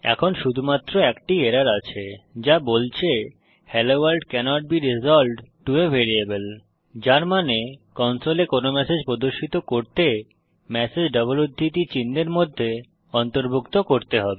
এখন শুধুমাত্র একটি এরর আছে যা বলছে hello world cannot be resolved to a variable যার মানে কনসোলে কোনো ম্যাসেজ প্রদর্শিত করতে ম্যাসেজ ডবল উদ্ধৃতি চিহ্নের মধ্যে অন্তর্ভুক্ত করতে হবে